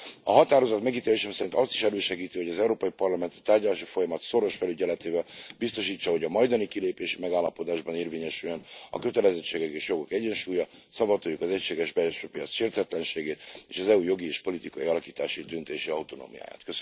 A határozat megítélésem szerint azt is elősegíti, hogy az Európai Parlament a tárgyalási folyamat szoros felügyeletével biztosítsa, hogy a majdani kilépési megállapodásban érvényesüljön a kötelezettségek és jogok egyensúlya, szavatoljuk az egységes belső piac sértetlenségét, és az EU jogi és politikai alakítási döntési autonómiáját.